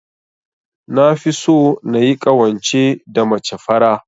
Nafi so nayi ƙawance da mace fara.